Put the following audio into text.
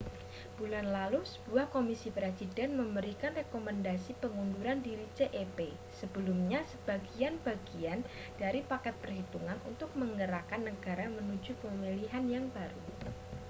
bulan lalu sebuah komisi presiden memberikan rekomendasi pengunduran diri cep sebelumnya sebagai bagian dari paket perhitungan untuk menggerakkan negara menuju pemilihan yang baru